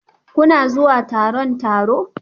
Kuna zuwa taron taro?